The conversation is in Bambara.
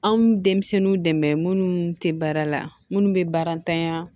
Anw bɛ denmisɛnninw dɛmɛ minnu tɛ baara la minnu bɛ baara tanya